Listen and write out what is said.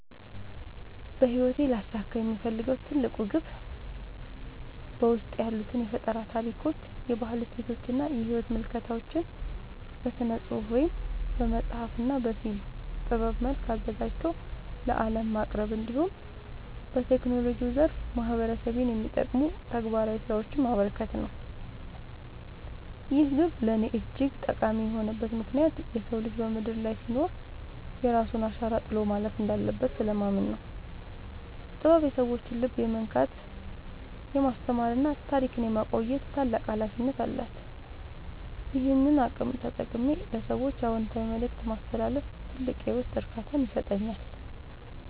በሕይወቴ ሊያሳካው የምፈልገው ትልቁ ግብ በውስጤ ያሉትን የፈጠራ ታሪኮች፣ የባህል እሴቶችና የሕይወት ምልከታዎች በሥነ-ጽሑፍ (በመጽሐፍ) እና በፊልም ጥበብ መልክ አዘጋጅቶ ለዓለም ማቅረብ፣ እንዲሁም በቴክኖሎጂው ዘርፍ ማኅበረሰቤን የሚጠቅሙ ተግባራዊ ሥራዎችን ማበርከት ነው። ይህ ግብ ለእኔ እጅግ ጠቃሚ የሆነበት ምክንያት የሰው ልጅ በምድር ላይ ሲኖር የራሱን አሻራ ጥሎ ማለፍ እንዳለበት ስለማምን ነው። ጥበብ የሰዎችን ልብ የመንካት፣ የማስተማርና ታሪክን የማቆየት ታላቅ ኃይል አላት፤ ይህንን አቅም ተጠቅሜ ለሰዎች አዎንታዊ መልእክት ማስተላለፍ ትልቅ የውስጥ እርካታን ይሰጠኛል።